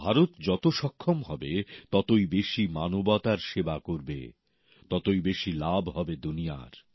ভারত যত সক্ষম হবে ততই বেশি মানবতার সেবা করবে ততই বেশি লাভ হবে দুনিয়ার